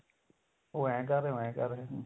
ਉਹ ਏਹ ਕ਼ਰ ਰਿਹਾ ਉਹ ਏਹ ਕ਼ਰ ਰਿਹਾ